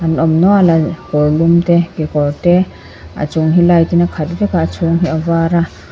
a awm nual a kawr lum te kekawr te a chung hi light in a khat vek a a chhûng hi a var a.